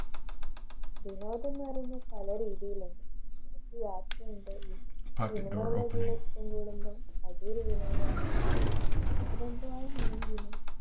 വിനോദം എന്ന് പറയുന്നത് പല രീതിയിലുണ്ട് അതൊരു വിനോദമാണ്. അതുകൊണ്ടാണ്